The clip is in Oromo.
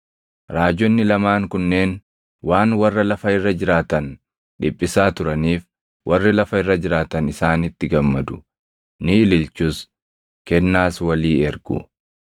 Raajonni lamaan kunneen waan warra lafa irra jiraatan dhiphisaa turaniif warri lafa irra jiraatan isaanitti gammadu; ni ililchus; kennaas walii ergu.